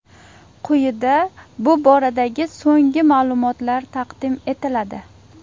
Quyida bu boradagi so‘nggi ma’lumotlar taqdim etiladi.